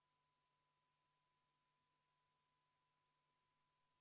V a h e a e g